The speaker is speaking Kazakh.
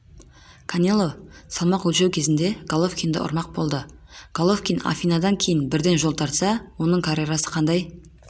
канело салмақ өлшеу кезінде головкинді ұрмақ болды головкин афинадан кейін бірден жол тартса оның карьерасы қандай